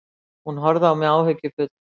Hún horfði á mig áhyggjufull.